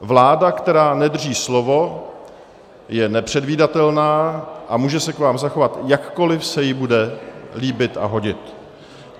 Vláda, která nedrží slovo, je nepředvídatelná a může se k vám zachovat, jakkoliv se jí bude líbit a hodit.